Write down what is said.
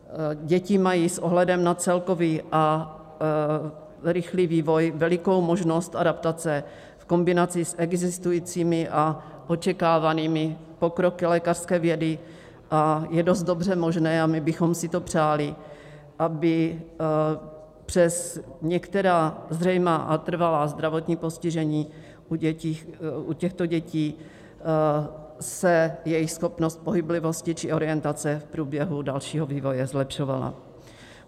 Děti mají s ohledem na celkový a rychlý vývoj velikou možnost adaptace v kombinaci s existujícími a očekávanými pokroky lékařské vědy a je dost dobře možné - a my bychom si to přáli - aby přes některá zřejmá a trvalá zdravotní postižení u těchto dětí se jejich schopnost pohyblivosti či orientace v průběhu dalšího vývoje zlepšovala.